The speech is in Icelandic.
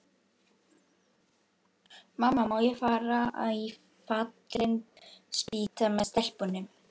Mamma, má ég fara í Fallin spýta með stelpunum?